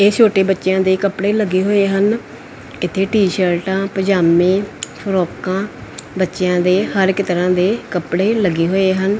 ਇਹ ਛੋਟੇ ਬੱਚਿਆਂ ਦੇ ਕੱਪੜੇ ਲੱਗੇ ਹੋਏ ਹਨ ਇੱਥੇ ਟੀ ਸ਼ਰਟਾਂ ਪਜਾਮੇ ਫਰੋਕਾਂ ਬੱਚਿਆਂ ਦੇ ਹਰ ਇੱਕ ਤਰ੍ਹਾਂ ਦੇ ਕੱਪੜੇ ਲੱਗੇ ਹੋਏ ਹਨ।